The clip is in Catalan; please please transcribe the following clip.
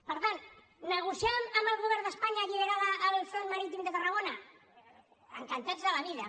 per tant negociar amb el govern d’espanya alliberar el front marítim de tarragona encantats de la vida